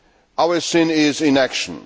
Our sin is inaction.